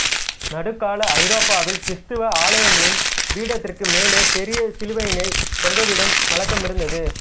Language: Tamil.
நடுக் கால ஐரோப்பாவில் கிறித்தவ ஆலயங்களின் பீடத்திற்கு மேலே பெரிய சிலுவையினை தொங்கவிடும் வழக்கம் இருந்தது